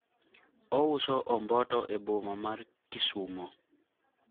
ouso omboto e boma mar kisumo